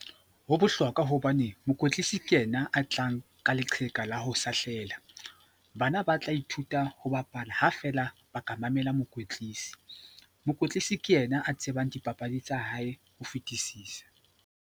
Ho bohlokwa hobane mokwetlisi ke ena a tlang ka leqheka la ho sahlehla. Bana ba tla ithuta ho bapala ha feela ba ka mamela mokwetlisi. Mokwetlisi ke ena a tsebang dipapadi tsa hae ho fetisisa.